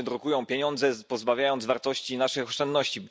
To rządy drukują pieniądze, pozbawiając wartości nasze oszczędności.